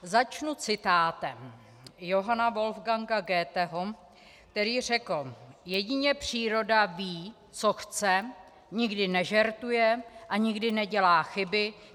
Začnu citátem Johanna Wolfganga Goetheho, který řekl: "Jedině příroda ví, co chce, nikdy nežertuje a nikdy nedělá chyby.